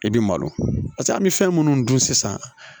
I bi malo an bɛ fɛn minnu dun sisan